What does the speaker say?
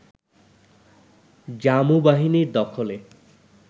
জামু বাহিনীর দখলে